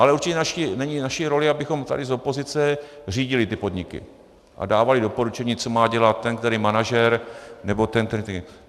Ale určitě není naší rolí, abychom tady z opozice řídili ty podniky a dávali doporučení, co má dělat ten který manažer, nebo ten který...